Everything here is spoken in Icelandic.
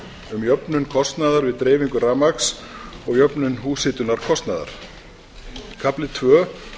um jöfnun kostnaðar við dreifingu rafmagns og jöfnun húshitunarkostnaðar kafli tvö